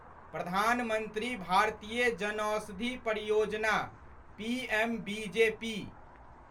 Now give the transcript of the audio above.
प्रधान मंत्री भारतीय जनौषधि परियोजना' पीएमबीजेपी